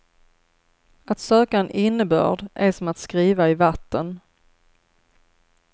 Att söka en innebörd är som att skriva i vatten.